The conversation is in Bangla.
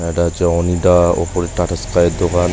এইটা হচ্ছে ওনিডা ওপরে টাটা স্কাই এর দোকান।